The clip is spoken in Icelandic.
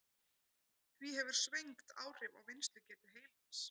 Því hefur svengd áhrif á vinnslugetu heilans.